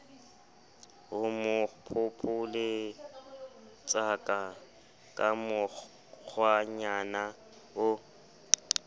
homo phopholetsaka ka mokgwanyana o